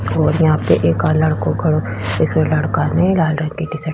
और यहाँ पे एका लड़को खड़ो दिख रहियो लड़के ने लाल रंग की --